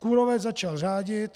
Kůrovec začal řádit.